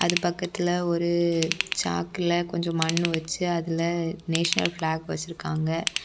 ஆது பக்கத்துல ஒரு சாக்குல கொஞ்சம் மண்ணு வச்சு அதுல நேஷனல் பிளாக் .